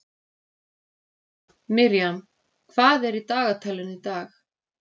Miriam, hvað er í dagatalinu í dag?